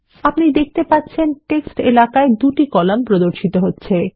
আপনি দেখতে পাচ্ছেন টেক্সট এলাকায় ২ টি কলাম প্রদর্শিত হচ্ছে